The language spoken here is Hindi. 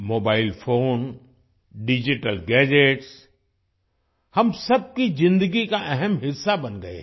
मोबाइल फोन डिजिटल गैजेट्स हम सबकी ज़िन्दगी का अहम हिस्सा बन गए हैं